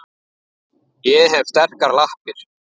Ég hef sterkar lappir.